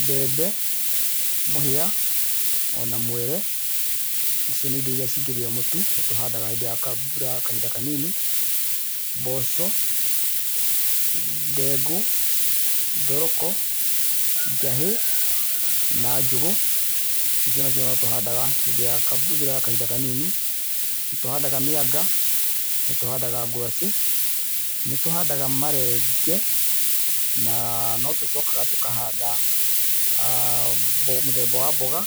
Mbembe, mũhĩa, o na mwere, icio nĩ indo iria cingĩthĩo mũtu. Nĩtũhandaga hĩndĩ ya mbura ya kahinda kanini, mboco, ndengũ, thoroko, njahĩ na njũgũ. icio nacio no tũhandaga hĩndĩ ya mbura ya kahinda kanini. Nĩ tũhandaga mĩanga, nĩ tũhandaga ngwacĩ, nĩtũhandaga marenge, na no tũcokaga tũkahanda mũthemba wa mboga,